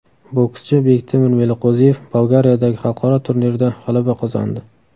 Bokschi Bektemir Meliqo‘ziyev Bolgariyadagi xalqaro turnirda g‘alaba qozondi.